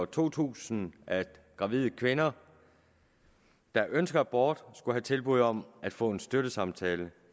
to tusind at gravide kvinder der ønsker abort skulle have tilbud om at få en støttesamtale